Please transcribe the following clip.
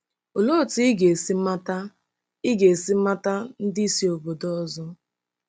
Olee otú ị ga-esi mata ị ga-esi mata ndị si obodo ọzọ?